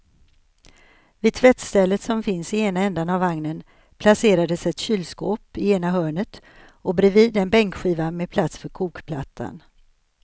Vid tvättstället som finns i ena ändan av vagnen placerades ett kylskåp i ena hörnet och bredvid en bänkskiva med plats för kokplattan.